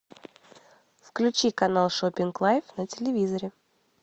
включи канал шопинг лайф на телевизоре